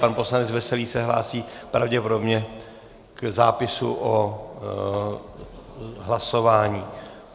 Pan poslanec Veselý se hlásí pravděpodobně k zápisu o hlasování.